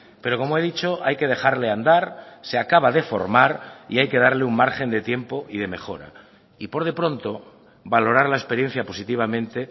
pero como he dicho hay que dejarle andar se acaba de formar y hay que darle un margen de tiempo y de mejora y por de pronto valorar la experiencia positivamente